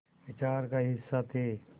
विचार का हिस्सा थे